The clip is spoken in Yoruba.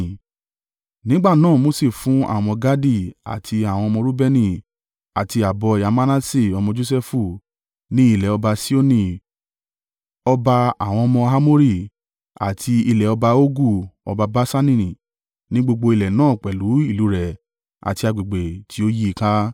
Nígbà náà Mose fún àwọn ọmọ Gadi àti àwọn ọmọ Reubeni àti ààbọ̀ ẹ̀yà Manase ọmọ Josẹfu ní ilẹ̀ ọba Sihoni ọba àwọn ọmọ Amori àti ilẹ̀ ọba Ogu ọba Baṣani ní gbogbo ilẹ̀ náà pẹ̀lú ìlú rẹ̀ àti agbègbè tí ó yí i ka.